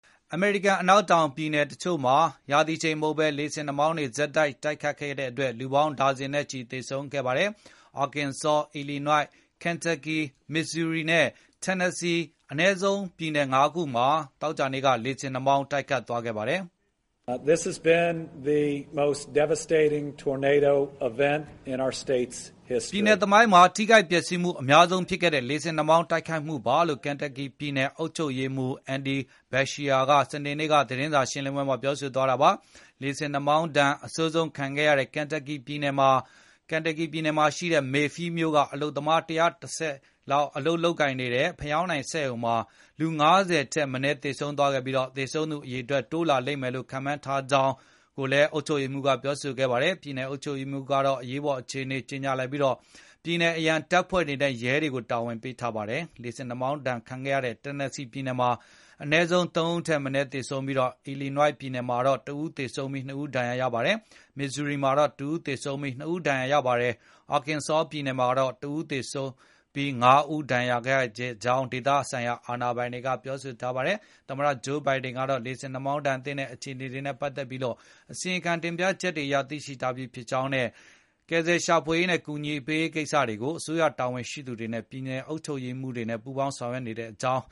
အမေရိကန် အနောက်တောင်ဘက် ပြည်နယ်တချို့မှာ ရာသီချိန်မဟုတ်ဘဲ လေဆင်နှာမောင်းတွေ ဆက်တိုက် တိုက်ခတ်ခဲ့တဲ့အတွက် လူပေါင်းဒါဇင်နဲ့ချီ သေဆုံးခဲ့ပါတယ်။ Arkansas, Illinois, Kentucky, Missouri နဲ့ Tennessee အနည်းဆုံး ပြည်နယ် ၅ ခုမှာ သောကြာနေ့ညက လေဆင်နှာမောင်းတွေ တိုက်ခတ်ခဲ့တာပါ။ “ပြည်နယ်သမိုင်းမှာ ထိခိုက်ပျက်စီးမှု အများဆုံးဖြစ်ခဲ့တဲ့ လေဆင်နှာမောင်း တိုက်ခိုက်မှုပါ။” လို့ Kentucky ပြည်နယ် အုပ်ချုပ်ရေးမှူး Andy Beshear က စနေနေ့ သတင်းစာရှင်းလင်းပွဲမှာ ပြောဆိုသွားတာပါ။ လေဆင်နှာမောင်းဒဏ် အဆိုးဆုံးခံခဲ့ရတဲ့ Kentucky ပြည်နယ်၊ Mayfield မြို့က အလုပ်သမား ၁၁၀ လောက် အလုပ်လုပ်နေတဲ့ ဖယောင်းတိုင်စက်ရုံမှာ လူ ၅၀ ထက်မနည်း သေဆုံးခဲ့ပြီး သေဆုံးသူ အရေအတွက် တိုးလာလိမ့်မယ်လို့ ခန့်မှန်းကြောင်းလည်း ပြောဆိုခဲ့ပါတယ်။ ပြည်နယ်အုပ်ချုပ်ရေးမှူးကတော့ အရေးပေါ် အခြေအနေ ကြေညာလိုက်ပြီး ပြည်နယ်အရန်တပ်တွေနဲ့ ရဲတွေကို တာဝန်ပေးထားပါတယ်။ လေဆင်နှာမောင်းဒဏ်ခံခဲ့ရတဲ့ Tennessee ပြည်နယ်မှာလည်း ၃ ဦးထက်မနည်း သေဆုံးခဲ့ပြီး Illinois ပြည်နယ်မှာ ၁ ဦးသေဆုံး ၂ ဦး ဒဏ်ရာရခဲ့ပါတယ်။ Missouri မှာတော့ ၁ ဦးသေဆုံး ၂ ဦး ဒဏ်ရာရခဲ့ပြီး Arkansas ပြည်နယ်မှာတော့ ၁ ဦးသေဆုံး ၅ ဦး ဒဏ်ရာရခဲ့ကြောင်း ဒေသခံအာဏာပိုင်တွေက ပြောပါတယ်။ သမ္မတ Joe Biden ကတော့ လေဆင်နှာမောင်းဒဏ်သင့်တဲ့ အခြေအနေနဲ့ ပတ်သက်လို့ အစီရင်ခံ တင်ပြချက်တွေအရ သိရှိထားပြီး လိုအပ်တဲ့ ရှာဖွေကယ်ဆယ်ရေးနဲ့ အကူအညီပေးရေးအတွက် အစိုးရတာဝန်ရှိသူတွေ၊ ပြည်နယ်အုပ်ချုပ်ရေးမှူးတွေနဲ့ လက်တွဲဆောင်ရွက်နေကြောင်း